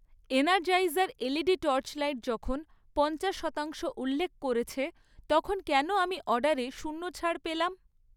Energizer LED torchlight যখন পঞ্চাশ শতাংশ উল্লেখ করেছে তখন কেন আমি অর্ডারে শূন্য ছাড় পেলাম?